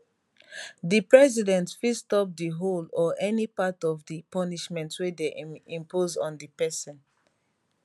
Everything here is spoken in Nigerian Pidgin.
di president fit stop di whole or any part of di punishment wey dem impose on di person